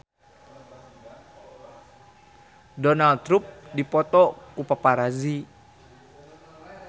Donald Trump dipoto ku paparazi